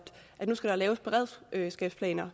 nu skal der laves beredskabsplaner